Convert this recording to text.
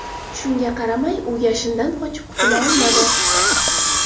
Shunga qaramay, u yashindan qochib qutula olmadi.